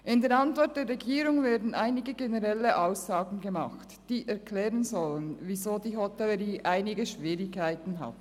In der Antwort der Regierung werden einige generelle Aussagen gemacht, die erklären sollen, weshalb die Hotellerie bestimmte Schwierigkeiten hat.